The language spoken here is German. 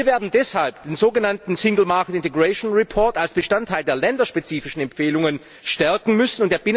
Wir werden deshalb den sogenannten single market integration report als Bestandteil der länderspezifischen Empfehlungen stärken müssen.